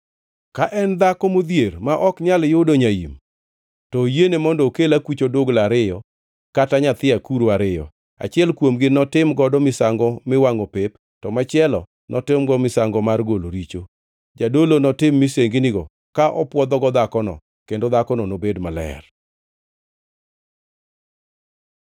Ka en dhako modhier ma ok nyal yudo nyaim, to oyiene mondo okel akuch odugla ariyo kata nyithi akuru ariyo. Achiel kuomgi notim godo misango miwangʼo pep, to machielo notimgo misango mar golo richo. Jadolo notim misenginigo, ka opwodhogo dhakono, kendo dhakono nobed maler.’ ”